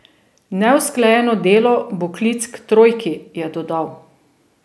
Neusklajeno delo bo klic k trojki, je dodal.